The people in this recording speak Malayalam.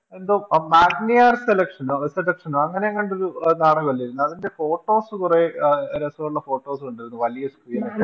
എന്തോ മാഗ്നിയാർ Selection കടക്ക്ഷനോ അങ്ങനെയെങ്ങാണ്ടൊരു അഹ് നടക്കാവില്ലേ അതിൻറെ Photos കൊറേ രസോള്ള Photos കണ്ടിരുന്നു വലിയ Screen ൽ